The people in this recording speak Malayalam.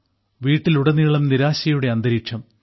വീട്ടിലുടനീളം നിരാശയുടെ അന്തരീക്ഷം